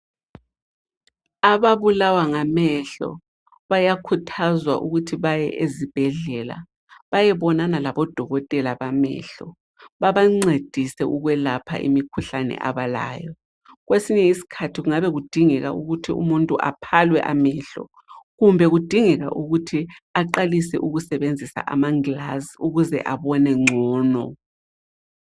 Ababulawa ngamehlo bayakhuthazwa ukuthi baye ezibhedlela bayebonana labodokotela bamehlo, babancedise ukwelapha imikhuhlane abalayo, kwesinye isikhathi kungabe kudingeka ukuthi umuntu aphalwe amehlo kumbe kudingeka ukuthi aqalise ukusebenzisa amangilazi ukuze abone ngcono.